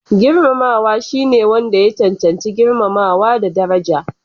Girmamawa shine wanda ya cancanci girmamawa da daraja.